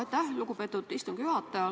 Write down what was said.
Aitäh, lugupeetud istungi juhataja!